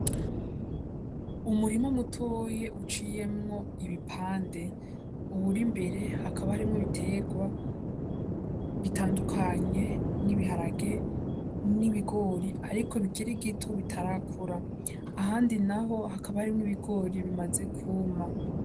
Umurima mutoya uciyemwo ibipande, uwuri imbere hakaba harimwo ibiterwa bitandukanye n'ibiharage, n'ibigori ariko bikiri bito bitarakura, ahandi naho hakaba harimwo ibigori bimaze kwuma.